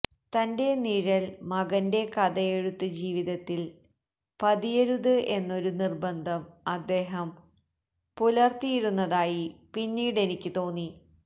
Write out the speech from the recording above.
തന്റെ നിഴൽ മകന്റെ കഥയെഴുത്ത് ജീവിതത്തിൽ പതിയരുത് എന്നൊരു നിർബന്ധം അദ്ദേഹം പുലർത്തിയിരുന്നതായി പിന്നീടെനിക്ക് തോന്നി